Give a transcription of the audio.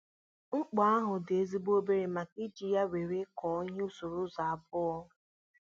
Mkpu ahụ dị ezigbo obere maka I ji ya wéré kụọ ihe usoro ụzọ abụọ